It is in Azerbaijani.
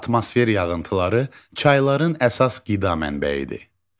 Atmosfer yağıntıları çayların əsas qida mənbəyidir.